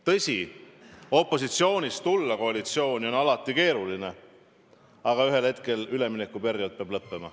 Tõsi, opositsioonist koalitsiooni tulla on alati keeruline, aga ühel hetkel üleminekuperiood peab lõppema.